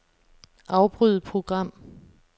Afbryd program.